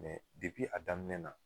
Mɛ dipi a daminɛ na